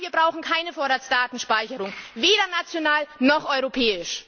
Nein, wir brauchen keine Vorratsdatenspeicherung weder national, noch europäisch!